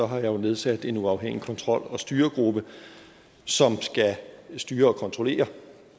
har jeg jo nedsat en uafhængig kontrol og styregruppe som skal styre og kontrollere